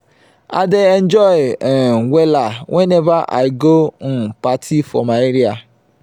i dey enjoy um wella weneva i go um party for my area.